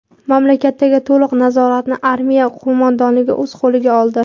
Mamlakatdagi to‘liq nazoratni Armiya qo‘mondonligi o‘z qo‘liga oldi.